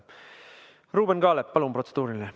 Ruuben Kaalep, palun!